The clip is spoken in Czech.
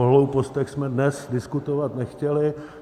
O hloupostech jsme dnes diskutovat nechtěli.